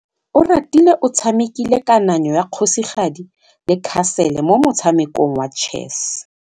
Oratile o tshamekile kananyô ya kgosigadi le khasêlê mo motshamekong wa chess.